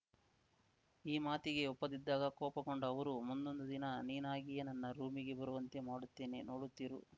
ಈ ಮಾತಿಗೆ ಒಪ್ಪದಿದ್ದಾಗ ಕೋಪಗೊಂಡ ಅವರು ಮುಂದೊಂದು ದಿನ ನೀನಾಗೆಯೇ ನನ್ನ ರೂಮಿಗೆ ಬರುವಂತೆ ಮಾಡುತ್ತೇನೆ ನೋಡುತ್ತಿರು